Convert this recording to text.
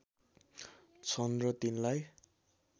छन् र तिनलाई